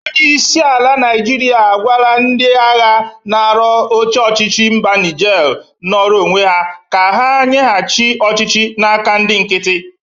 Onyeisi ala Naịjịrịa gwalarị ndị-agha nara oche ọchịchị mba Nije nọrọ onwe ya ka ha nyegachi ọchịchị n'aka ndị nkiti.